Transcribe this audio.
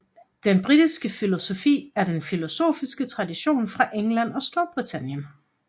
Den britiske filosofi er den filosofiske tradition fra England og Storbritannien